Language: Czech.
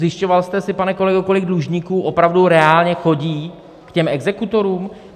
Zjišťoval jste si, pane kolego, kolik dlužníků opravdu reálně chodí k těm exekutorům?